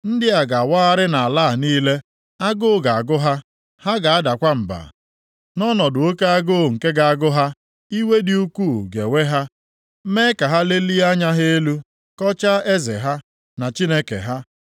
Ndị a ga-awagharị nʼala a niile. Agụụ ga-agụ ha, ha ga-adakwa mba. Nʼọnọdụ oke agụụ nke ga-agụ ha, iwe dị ukwuu ga-ewe ha, mee ka ha lelie anya ha nʼelu, kọchaa eze ha, na Chineke ha.